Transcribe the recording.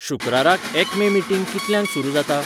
शुक्राराक एक्मे मीटिंग कितल्यांक सुरू जाता?